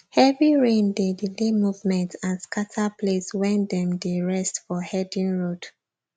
heavy rain dey delay movement and scatter place wen them dey rest for herding road